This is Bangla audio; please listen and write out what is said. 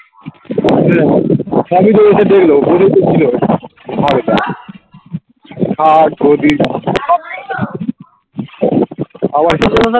খাট গদি